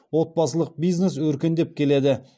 отбасылық бизнес өркендеп келеді